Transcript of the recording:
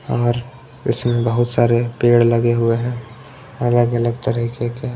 और इसमें बहुत सारे पेड़ लगे हुए है अलग अलग तरीके के--